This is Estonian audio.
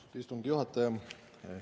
Austatud istungi juhataja!